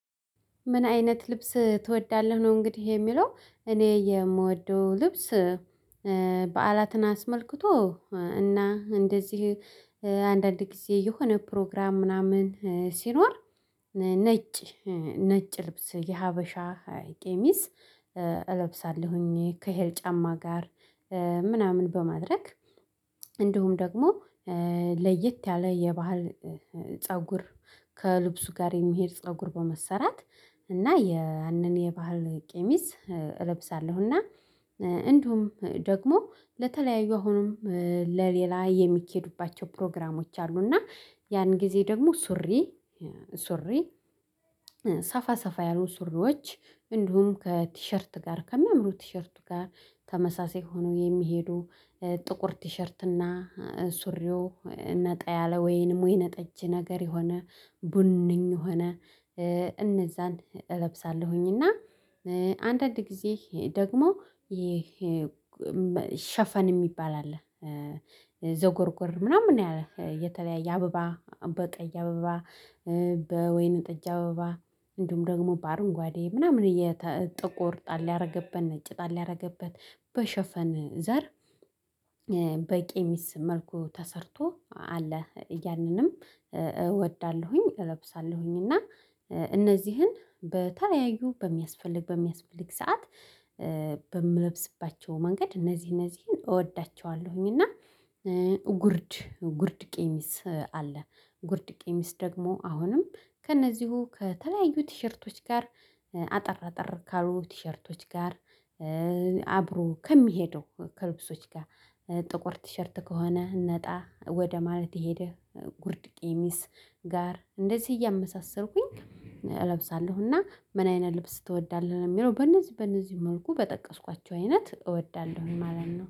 ምን አይነት ልብስ ትወዳለህ? ነው እንግዲህ የሚለው እኔ የምወደው ልብስ በዓላትን አስመልክቶ እና እንደዚህ አንዳንድ ጊዜ የሆነ ፕሮግራም ምናምን ሲኖር ነጭ ነጭ ልብስ የሀበሻ ቄሚስ እለብሳለሁኝ ከይሄ ጫማ ጋር ምናምን በማድረግ እንዲሁም ደግሞ ለየት ያለ የባህል ፀጉር ከልብሱ ጋር የሚሄድ ፀጉር በመሰራት እና ያንን የባህል ቀሚስ እለብሳለሁ። እና እንዲሁም ደግሞ ለተለያዩ አሁንም ለሌላ የሚኬዱባቸው ፕሮግራሞች አሉ። እና ያን ጊዜ ደግሞ ሱሪ ሱሪ ሰፋ ሰፋ ያሉ ሱሪዎች እንዲሁም ከቲሸርት ጋር ከሚያምሩት ቲሸርት ጋር ተመሳሳይ ሆኖ የሚሄዱ ጥቁር ቲሸርት እና ሱሪው ነጣ ያለ ወይንም ወይነጠጅ ነገር የሆነ ቡንኝ ሆነ እነዛን እለብሳለሁኝ። እና አንዳንድ ጊዜ ደግሞ ይሄ ሸፈን የሚባል አለ ዘጎርጎር ምናምን ያለው የተለያየ አበባ በቀይ አበባ በወይነ ጠጅ አበባ እንዲሁም ደግሞ በአረንጓዴ ምናምን ጥቁር ጣል ያደርግበን ነጭ ጣል ያደርግበት በሸፈን ዘር በቄሚስ መልኩ ተሰርቶ አለ ያንንም እወዳለሁኝ። እለብሳለሁኝ እና እነዚህን በተያዩ በሚያስፈልግ በሚያስፈልግ ሰዓት በምለብስባቸው መንገድ እነዚህ እነዚህን እወዳቸዋለሁኝ። እና ጉርድ ጉርድ ቄሚስ አለ ጉርድ ቄሚስ ደግሞ አሁንም ከእነዚሁ ከተለያዩ ቲሸርቶች ጋር አጠር አጠር ካሉ ቲሸርቶች ጋር አብሮ ከሚሄደው ከልብሶች ጋር ጥቁር ቲሸርት ከሆነ ነጣ ወደ ማለት የሄደ ጉርድ ቄሚስ ጋር እንደዚህ እያመሳሰልኩኝ እለብሳለሁ። እና ምን አይነት ልብስ ትወዳለህ ለሚለው በእነዚህ በእነዚህ መልኩ በጠቀስኳቸው አይነት እወዳለሁ ማለት ነው